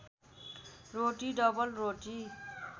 रोटी double रोटी